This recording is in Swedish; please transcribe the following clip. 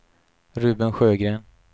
Ruben Sjögren